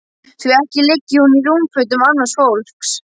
Því ekki liggi hún í rúmfötum annars fólks.